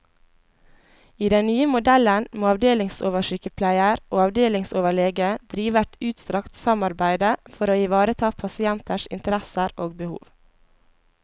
I den nye modellen må avdelingsoversykepleier og avdelingsoverlege drive et utstrakt samarbeide for å ivareta pasienters interesser og behov.